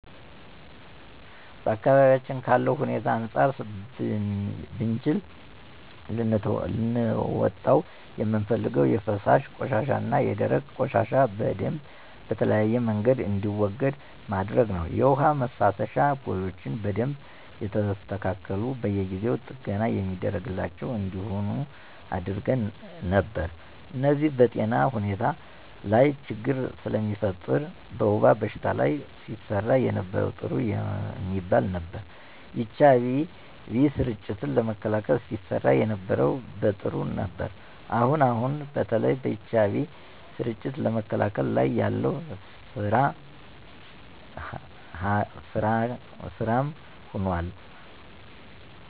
በአካባቢዬ ካለው ሁኔታ አንፃር ብችል ልለውጠው የምፈልገው የፈሳሽ ቆሻሻና የደረቅ ቆሻሻ በደምብ በተለያየ መንገድ እንዲወገድ ማድረግ ነው። የውሃ መፋሰሻ ቦዮች በደንብ የተስተካሉና በየጊው ጥገና የሚደረግላቸው እንዲሆኑ አደረግ ነበር። እነዚህ በጤና ሁኔታ ላች ችግር ስለሚፈጥር። በወባ በሽታ ላይ ሲሰራ የነበረው ጥሩ የሚባል ነበር። የኤች አይ ቪ ስርጭትን ለመከላከል ሲሰራ የነበረው ጥሩ ነበር። አሁን አሁን በተለይ በኤች አይ ቪ ስርጭትን ለመከላከል ላይ ያለው ስራ ካም ሆኖል።